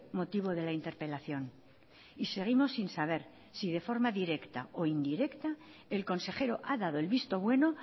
motivo de la interpelación y seguimos sin saber si de forma directa o indirecta el consejero ha dado el visto bueno